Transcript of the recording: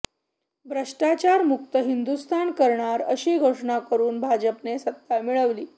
भ्रष्टाचारमुक्त हिंदुस्तान करणार अशी घोषणा करुन भाजपने सत्ता मिळवली